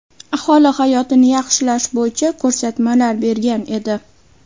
aholi hayotini yaxshilash bo‘yicha ko‘rsatmalar bergan edi.